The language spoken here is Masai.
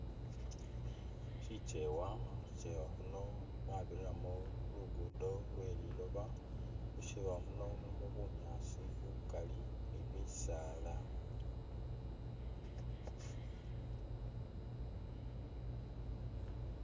Sikyewa, mu sikyewa khuno mwabiriramo lugudo lwe liloba ,mukyewa muno mulimo bunyaasi bukali ni bisaala